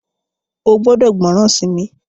o gbódò gbóròn sí mí!